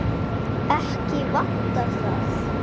Ekki vantar það.